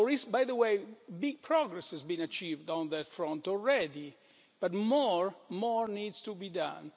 By the way, big progress has been achieved on that front already but more needs to be done.